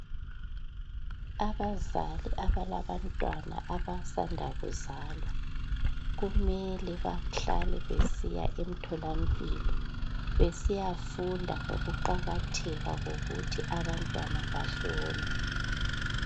Abazali abalabantwana abasanda kuzalwa kumele bahlale besiya emtholampilo besiyafunda ukuqakatheka kokuthi abantwana bahlolwe.